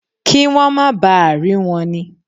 Kí wọ́n máa ba à rí wọn ni.